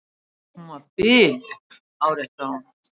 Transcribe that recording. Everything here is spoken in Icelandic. Hún var biluð, áréttaði hún.